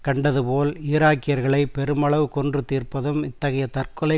கண்டதுபோல் ஈராக்கியர்களை பெருமளவு கொன்று தீர்ப்பதும் இத்தகைய தற்கொலை